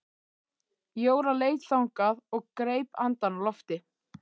Jóra leit þangað og greip andann á lofti.